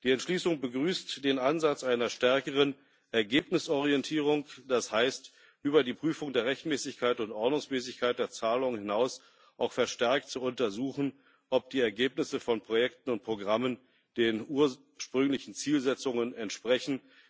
Die Entschließung begrüßt den Ansatz einer stärkeren Ergebnisorientierung, das heißt, über die Prüfung der Rechtmäßigkeit und Ordnungsmäßigkeit der Zahlungen hinaus auch verstärkt zu untersuchen, ob die Ergebnisse von Projekten und Programmen den ursprünglichen Zielsetzungen entsprechen.